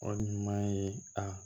O ɲuman ye a